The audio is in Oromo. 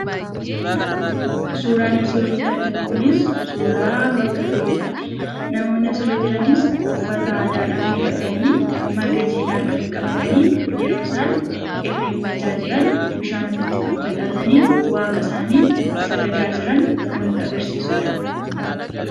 Suuraan asii olitti arginu kunis suuraa bakka irreechaa ti. Namoonni asirra jiranis uffata aadaadhaan miidhaganii, marga jiidhaa harkatti qabatanii, yeroo isaan irreeffachaa jiran bishaan ofitti faffacaasanii, waaqa isaanii sagadaa jiran kan nutti agarsiisuu dha.